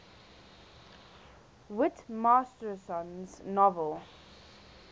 whit masterson's novel